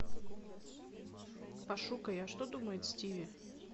пошукай а что думает стиви